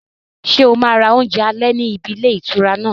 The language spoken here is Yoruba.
Ṣé o máa ra oúnjẹ alẹ́ níbi ilé ìtura náà?